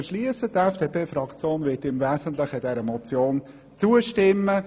Die FDP-Fraktion wird dieser Motion im Wesentlichen zustimmen.